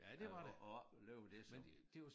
At at opleve det som